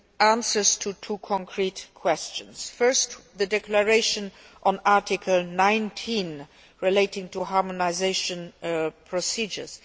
answers to two concrete questions first, the declaration on Article 19 relating to harmonisation procedures.